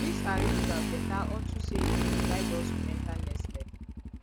dis our ritual better unto say e go guide us enter next level